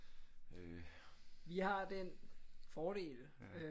Jeg har den fordel øh